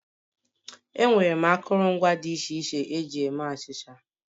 Enwere m akụrụngwa dị iche iche eji eme achịcha